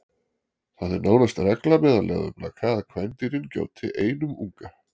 Það er nánast regla meðal leðurblaka að kvendýrin gjóti einum unga.